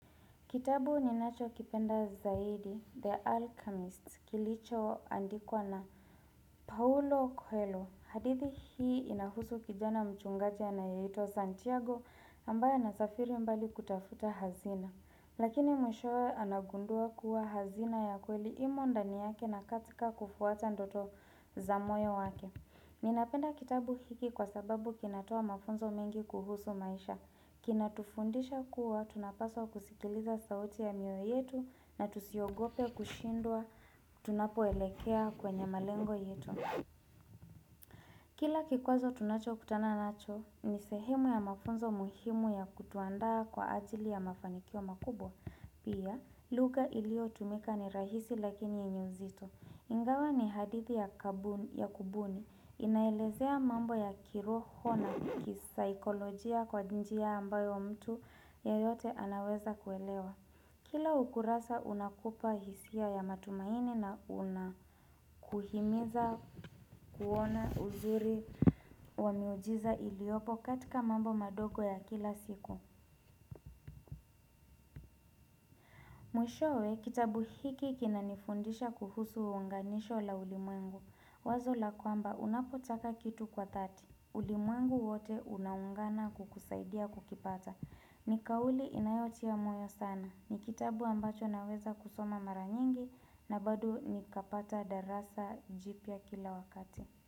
Kitabu ninachokipenda zaidi, The Alchemist, kilichoandikwa na Paulo Coelho. Hadithi hii inahusu kijana mchungaji anayeitwa Santiago ambaye anasafiri mbali kutafuta hazina. Lakini mwishowe anagundua kuwa hazina ya kweli imo ndani yake na katika kufuata ndoto za moyo wake. Ninapenda kitabu hiki kwa sababu kinatoa mafunzo mengi kuhusu maisha. Kinatufundisha kuwa, tunapaswa kusikiliza sauti ya mioyo yetu na tusiogope kushindwa tunapoelekea kwenye malengo yetu. Kila kikwazo tunachokutana nacho, ni sehemu ya mafunzo muhimu ya kutuandaa kwa ajili ya mafanikio makubwa. Pia, lugha iliyotumika ni rahisi lakini yenye uzito. Ingawa ni hadithi ya kabuni ya kubuni, inaelezea mambo ya kiroho na kisaikolojia kwa njia ambayo mtu yeyote anaweza kuelewa. Kila ukurasa unakupa hisia ya matumaini na unakuhimiza kuona uzuri wa miujiza iliopo katika mambo madogo ya kila siku. Mwishowe kitabu hiki kinanifundisha kuhusu uunganisho la ulimwengu. Wazo laykwamba unapotaka kitu kwa dhati, ulimwengu wote unaungana kukusaidia kukipata. Ni kauli inayotia moyo sana. Ni kitabu ambacho naweza kusoma mara nyingi na bado nikapata darasa jipya kila wakati.